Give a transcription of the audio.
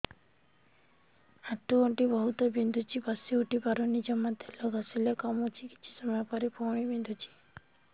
ଆଣ୍ଠୁଗଣ୍ଠି ବହୁତ ବିନ୍ଧୁଛି ବସିଉଠି ପାରୁନି ଜମା ତେଲ ଘଷିଲେ କମୁଛି କିଛି ସମୟ ପରେ ପୁଣି ବିନ୍ଧୁଛି